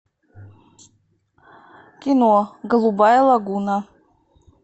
кино голубая лагуна